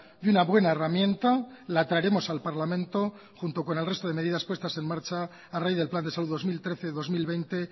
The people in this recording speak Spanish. y una buena herramienta la traeremos al parlamento junto con el resto de medidas puestas en marcha a raíz del plan de salud dos mil trece dos mil veinte